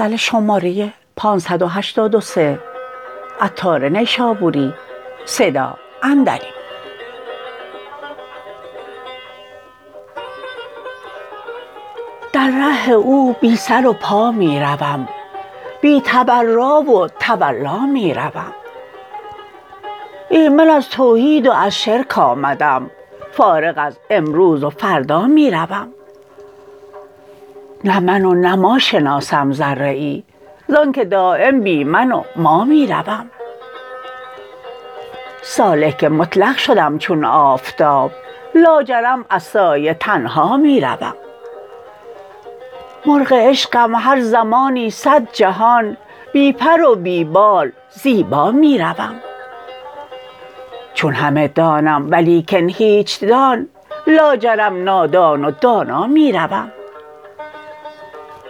در ره او بی سر و پا می روم بی تبرا و تولا می روم ایمن از توحید و از شرک آمدم فارغ از امروز و فردا می روم نه من و نه ما شناسم ذره ای زانکه دایم بی من و ما می روم سالک مطلق شدم چون آفتاب لاجرم از سایه تنها می روم مرغ عشقم هر زمانی صد جهان بی پر و بی بال زیبا می روم چون همه دانم ولیکن هیچ دان لاجرم نادان و دانا می روم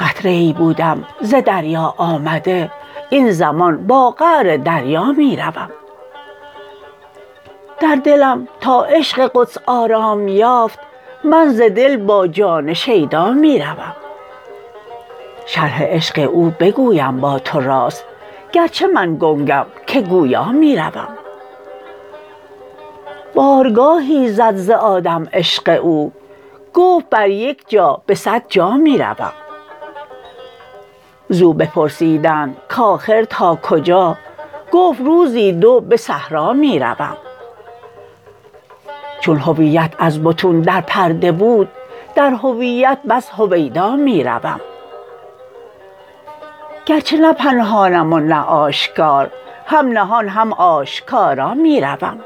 قطره ای بودم ز دریا آمده این زمان با قعر دریا می روم در دلم تا عشق قدس آرام یافت من ز دل با جان شیدا می روم شرح عشق او بگویم با تو راست گرچه من گنگم که گویا می روم بارگاهی زد ز آدم عشق او گفت بر یک جا به صد جا می روم زو بپرسیدند کاخر تا کجا گفت روزی در به صحرا می روم چون هویت از بطون در پرده بود در هویت بس هویدا می روم گرچه نه پنهانم و نه آشکار هم نهان هم آشکارا می روم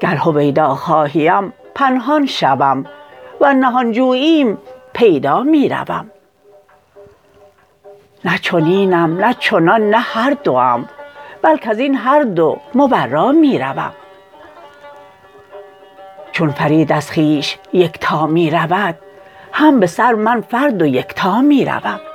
گر هویدا خواهیم پنهان شوم ور نهان جوییم پیدا می روم نه چنینم نه چنان نه هردوم بل کزین هر دو مبرا می روم چون فرید از خویش یکتا می رود هم به سر من فرد و یکتا می روم